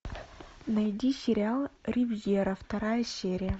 найди сериал ривьера вторая серия